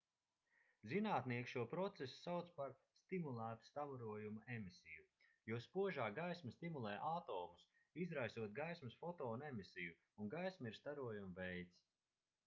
zinātnieki šo procesu sauc par stimulētu starojuma emisiju jo spožā gaisma stimulē atomus izraisot gaismas fotona emisiju un gaisma ir starojuma veids